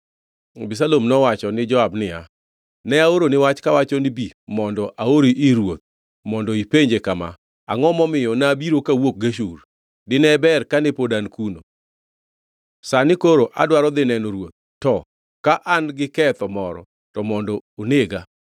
Abisalom nowacho ni Joab niya, “Ne, naoroni wach kawacho ni, ‘Bi mondo aori ir ruoth mondo ipenje kama: “Angʼo momiyo nabiro kawuok Geshur? Dine ber kane pod an kuno!” ’ Sani koro adwaro dhi neno ruoth, to ka an gi ketho moro, to mondo onega.”